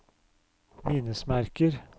minnesmerker